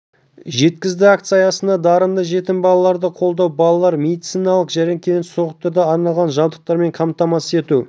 жеткізді акция аясында дарынды жетім балаларды қолдау балалар медициналық мекемелерін сауықтыруға арналған жабдықтармен қамтамасыз ету